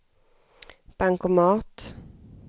bankomat